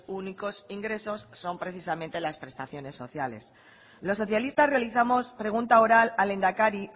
únicos ingresos son precisamente las prestaciones sociales los socialistas realizamos pregunta oral al lehendakari